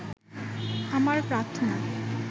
আমার প্রার্থনা